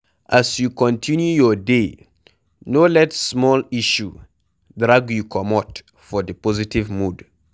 As you continue your day no let small issue drag you comot for di positve mood